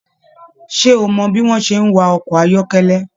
Ṣe o mọ bi wọn ṣe n wa ọkọ ayọkẹlẹ?